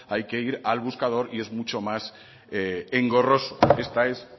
hay que ir al buscador y es mucho más engorroso esta es